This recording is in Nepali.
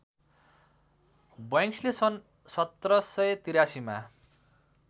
बैंक्सले सन् १७८३ मा